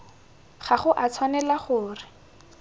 ga go a tshwanela gore